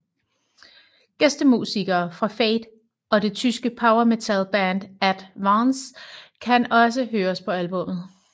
Gæstemusikere fra Fate og det tyske power metal band At Vance kan også høres på albummet